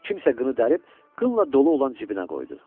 Kimsə qını dərib, qınla dolu olan cibinə qoydu.